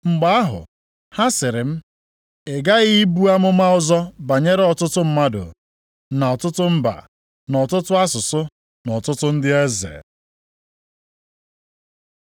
Mgbe ahụ ha sịrị m, “Ị ghaghị ibu amụma ọzọ banyere ọtụtụ mmadụ, na ọtụtụ mba, na ọtụtụ asụsụ na ọtụtụ ndị eze.”